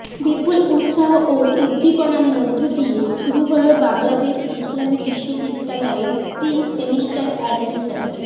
বিপুল উৎসাহ ও উদ্দীপনার মধ্যদিয়ে শুরু হলো বাংলাদেশ ইসলামী বিশ্ববিদ্যালয়ের স্প্রিং সেমিস্টার অ্যাডমিশন